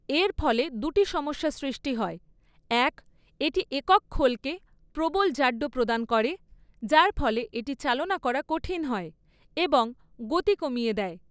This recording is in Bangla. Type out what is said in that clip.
এর ফলে দুটি সমস্যা সৃষ্টি হয় এক, এটি একক খোলকে প্রবল জাড্য প্রদান করে, যার ফলে এটি চালনা করা কঠিন হয় এবং গতি কমিয়ে দেয়।